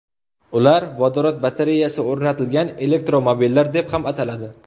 Ular vodorod batareyasi o‘rnatilgan elektromobillar deb ham ataladi.